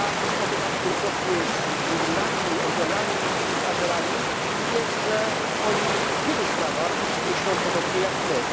Spotykałem się wielokrotnie z Gruzinami, Ormianami i Azerami i wiem, że oni w wielu sprawach myślą podobnie jak my.